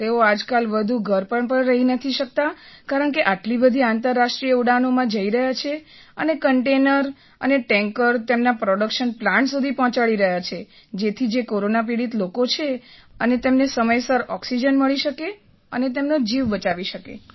તેઓ આજકાલ વધુ ઘર પર રહી પણ નથી શકતા કારણકે આટલી બધી આંતરરાષ્ટ્રીય ઉડાનોમાં જઈ રહ્યા છે અને કન્ટેઇનર અને ટૅન્કર તેમના પ્રૉડક્શન પ્લાન્ટ સુધી પહોંચાડી રહ્યા છે જેથી જે કોરોના પીડિત લોકો છે તેમને સમયસર ઑક્સિજન મળી શકે અને તેમનો જીવ બચી શકે